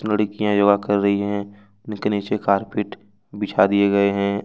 लड़कियां योगा कर रही है उनके नीचे कार्पेट बिछा दिए गए हैं।